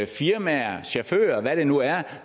firmaer chauffører hvad det nu er